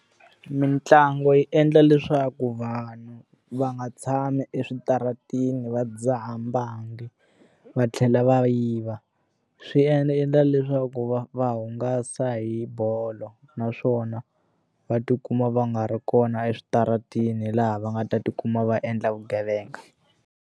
Mintlangu yi endla leswaku vanhu va nga tshami eswitarateni va dzaha mbangi, va tlhela va yiva. Swi endla leswaku va va hungasa hi bolo naswona, va tikuma va nga ri kona eswitarateni laha va nga ta tikuma va endla vugevenga.